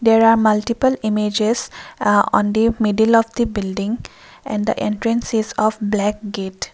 there are multiple images uh on the middle of the building and the entrance is of black gate.